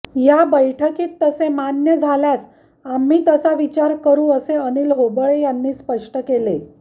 या बैठकीत तसे मान्य झल्यास आम्ही तसा विचार करु असे अनिल होबळे यांनी स्पष्ट केले